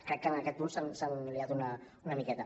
crec que en aquest punt s’han embolicat una miqueta